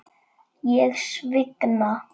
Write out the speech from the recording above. Ég svigna.